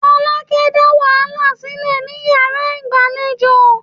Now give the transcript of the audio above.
Folake dá wàhálà sílẹ̀ ní yàrá ìgbàlejò.